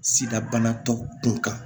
Sida banatɔw kun kan